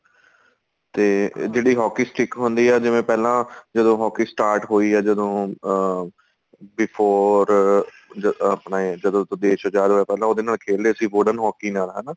ਤੇ ਜਿਹੜੀ hockey stick ਹੁੰਦੀ ਆ ਜਿਵੇਂ ਪਹਿਲਾਂ ਜਦੋਂ hockey start ਹੋਈ ਆ ਜਦੋਂ ਅਹ before ਅਹ ਜਦੋਂ ਆਪਣੇ ਜਦੋਂ ਦੇਸ਼ ਆਜ਼ਾਦ ਹੋਇਆ ਪਹਿਲਾਂ ਉਹਦੇ ਨਾਲ ਖੇਲਦੇ ਸੀ wooden hockey ਨਾਲ ਹਨਾ